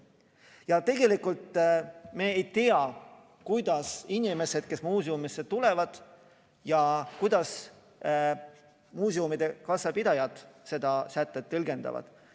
Ja tegelikult me ei tea, kuidas inimesed, kes muuseumisse tulevad, ja kuidas muuseumide kassapidajad seda sätet tõlgendavad.